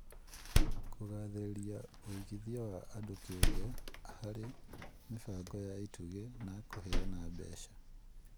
Kũgathĩrĩria ũigithia wa andũ kĩumbe harĩ mĩbango ya itugĩ na kũheana mbeca